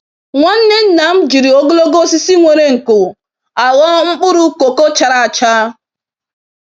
Nwanne nna m jiri ogologo osisi nwere nko, agho mkpụrụ koko chara acha.